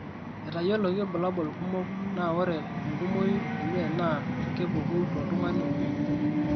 Etayioloki irbulabol kumok naa wore enkumoi enye naa kepuku tooltung'anak oomui.